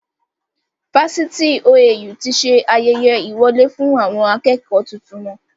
Fásitì OAU tí ṣe ayẹyẹ ìwọlé fún àwọn akẹ́kọ̀ tuntun wọn.